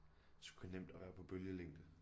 Sgu nemt at være på bølgelængde